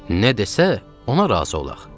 Nə desə, ona razı olaq.